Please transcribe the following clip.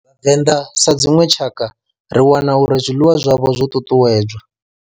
Venḓa sa dzinwe tshakha ri wana uri zwiḽiwa zwavho zwo ṱuṱuwedzwa.